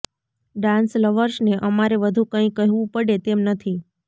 dance લવર્સને અમારે વધું કંઈ કહેવું પડે તેમ નથી